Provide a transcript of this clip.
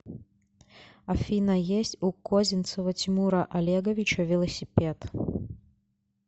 афина есть у козинцева тимура олеговича велосипед